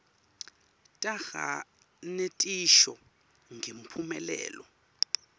taga netisho ngemphumelelo